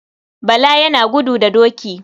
Bala yana gudu da doki.